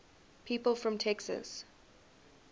people from texas